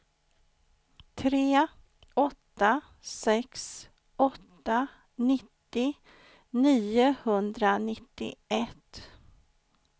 tre åtta sex åtta nittio niohundranittioett